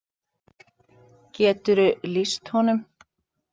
Geturðu lýst honum?